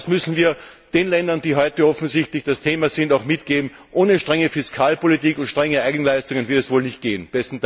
Das müssen wir den Ländern, die heute offensichtlich das Thema sind, auch mitgeben Ohne strenge Fiskalpolitik und starke Eigenleistungen wird es wohl nicht gehen.